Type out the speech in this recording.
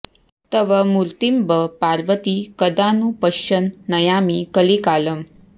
तव मूर्तिमम्ब पार्वति कदा नु पश्यन् नयामि कलिकालम्